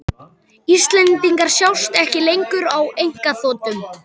Íslendingar sjást ekki lengur á einkaþotum